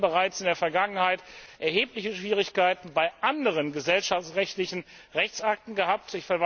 Wir haben hier bereits in der Vergangenheit erhebliche Schwierigkeiten bei anderen gesellschaftsrechtlichen Rechtsakten gehabt.